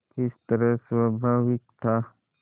किस तरह स्वाभाविक था